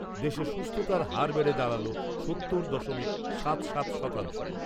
দেশে সুস্থতার হার বেড়ে দাঁড়াল সত্তর দশমিক সাত সাত শতাংশ।